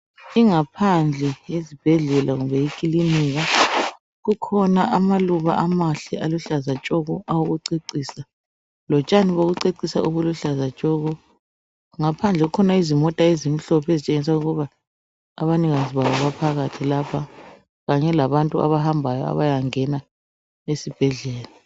Ingaphandle yesibhedlela kumbe ikilinika kukhona amaluba amahle aluhlaza tshoko awokucecisa lotshani bokucecisa obuluhlaza tshoko, ngaphandle kukhona izimota ezimhlophe ezitshengia ukuba abanikazi bazo baphakathi lapha kanye labantu abahambayo abayangena esibhedlela.